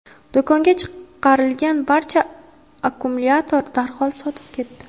Do‘konga chiqarilgan barcha akkumulyatorlar darhol sotilib ketdi.